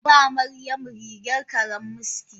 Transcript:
Zan ba Maryamu rigar karammiski.